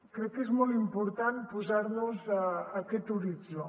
crec que és molt important posar nos aquest horitzó